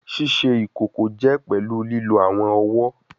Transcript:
Ṣiṣe ikoko jẹ pẹlu lilo awọn ọwọ